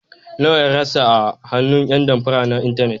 Nawa ya rasa a hannun ƴan damfara na intanet.